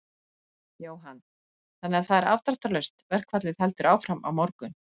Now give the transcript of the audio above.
Jóhann: Þannig að það er afdráttarlaust, verkfallið heldur áfram á morgun?